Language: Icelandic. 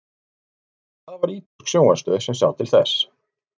en það var ítölsk sjónvarpsstöð sem sá til þess